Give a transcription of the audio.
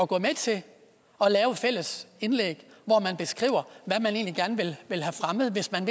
gå med til at lave et fælles indlæg hvor man beskriver hvad man egentlig gerne vil vil have fremmet hvis man